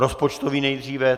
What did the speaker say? Rozpočtový nejdříve.